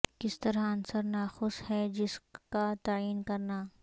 کس طرح عنصر ناقص ہے جس کا تعین کرنے